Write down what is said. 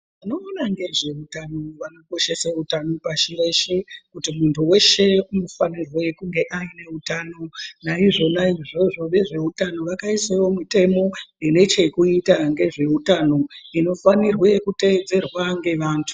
Vanoona ngezveutano vano koshese utano pasi reshe kuti muntu veshe ano fanirwe kuva aine hutano. Naizvona izvizvi vezveutano vakaisavo mutemo inechekuita ngezve hutano inofanirwe kuteedzera ngevantu.